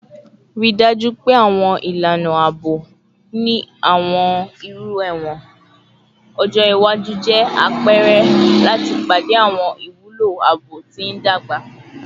Rii daju pe awọn ilana aabo ni awọn iru ẹwọn ọjọ iwaju jẹ apẹrẹ lati pade awọn iwulo aabo ti ndagba